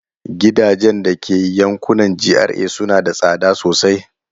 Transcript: Gidajen da ke yankunan GRA suna da tsada sosai.